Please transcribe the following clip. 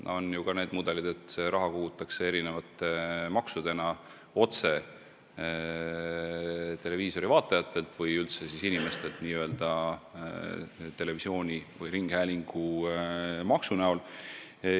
On ka niisugused mudelid, et see raha kogutakse mitmesuguste maksudena otse televiisorivaatajatelt või üldse elanikelt n-ö televisiooni- või ringhäälingumaksu näol.